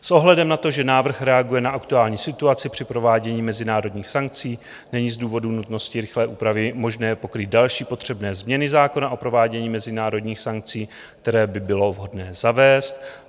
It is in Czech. S ohledem na to, že návrh reaguje na aktuální situaci při provádění mezinárodních sankcí, není z důvodu nutnosti rychlé úpravy možné pokrýt další potřebné změny zákona o provádění mezinárodních sankcí, které by bylo vhodné zavést.